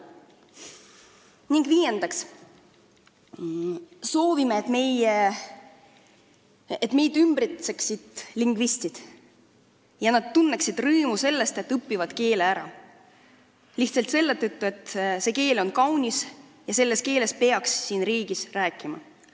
Ning viiendaks: me soovime, et meid ümbritseksid lingvistid ja tunneksid rõõmu sellest, et õpivad eesti keele ära, kas või lihtsalt selle tõttu, et see keel on kaunis ja selles keeles peaks siin riigis rääkima.